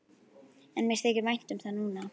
En mér þykir vænt um það núna.